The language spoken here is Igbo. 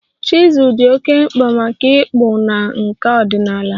Chizul dị oké mkpa maka ịkpụ na nkà ọdịnala